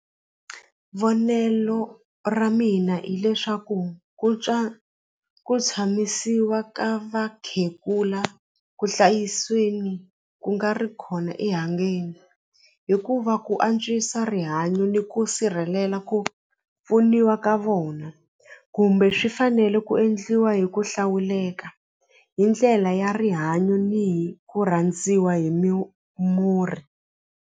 Vonelo ra mina hileswaku ku twa ku tshamisiwa ka vakhegula kuhlayisweni ku nga ri hikuva ku antswisa rihanyo ni ku sirhelela ku pfuniwa ka vona kumbe swi fanele ku endliwa hi ku hlawuleka hi ndlela ya rihanyo ni hi ku rhandziwa hi muri.